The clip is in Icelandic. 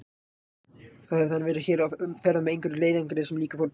Þá hefði hann verið hér á ferð með einhverjum leiðangri sem líka fór til